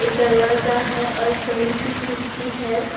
एक दरवाजा है और बड़ी सी खिड़की है।